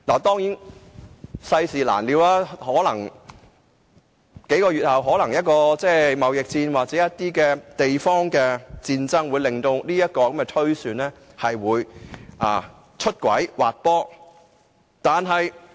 當然，世事難料，或許數個月後發生貿易戰或地方戰爭，令我的預算出軌滑坡。